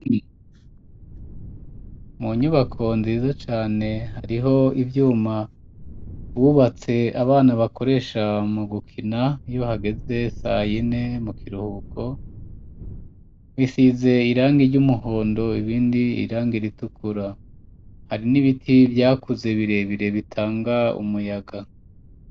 Mu nyubako nziza cane hariho ivyuma bubatse abana bakoresha mu gukina yo hageze sayine mu kiruhuko, isize irangi ry'umuhondo ibindi irangi ritukura hari n'ibiti vyakuze birebire bitanga umuyaga.